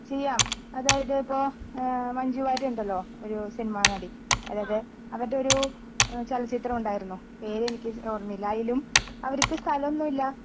ചെയ്യാം അതായത് ഇപ്പോ ഏഹ് മഞ്ജുവാര്യർ ഉണ്ടല്ലോ ഒരു സിനിമാനടി അതായത് അവരുടെ ഒരു ഏഹ് ചലച്ചിത്രം ഉണ്ടായിരുന്നു പേരെനിക്ക് ഓർമ്മയില്ല അതിലും അവരിക്ക് സ്ഥലമൊന്നുമില്ല